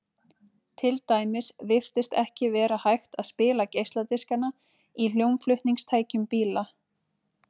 til dæmis virtist ekki vera hægt að spila geisladiskana í hljómflutningstækjum bíla